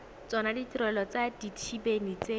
tsona ditirelo tsa dithibedi tse